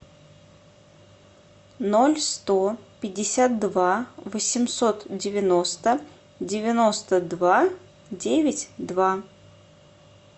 ноль сто пятьдесят два восемьсот девяносто девяносто два девять два